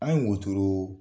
An ye wotoro